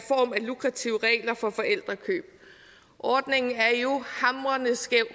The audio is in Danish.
lukrative regler for forældrekøb ordningen er jo hamrende skæv